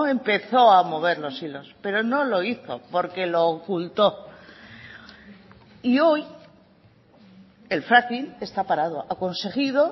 empezó a mover los hilos pero no lo hizo porque lo ocultó y hoy el fracking está parado ha conseguido